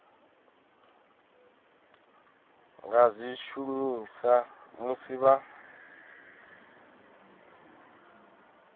nga zwi shumisa musi vha